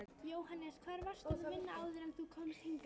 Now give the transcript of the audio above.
Jóhannes: Hvar varstu að vinna áður en þú komst hingað?